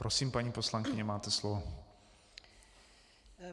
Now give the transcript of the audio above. Prosím, paní poslankyně, máte slovo.